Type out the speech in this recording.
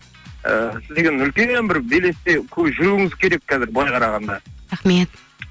і сіз деген үлкен бір белесте жүруіңіз керек қазір былай қарағанда рахмет